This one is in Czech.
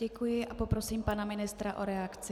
Děkuji a poprosím pana ministra o reakci.